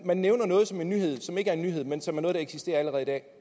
man nævner noget som en nyhed som ikke er en nyhed men som er noget der eksisterer allerede i dag